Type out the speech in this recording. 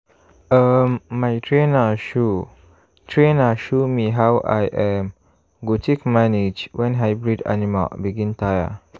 um my trainer show trainer show me how i um go take manage when hybrid animal begin tire.